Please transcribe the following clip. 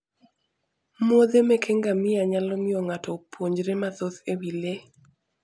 muodhe meke ngamia nyalo miyo ng'ato opuonjre mathoth e wi le.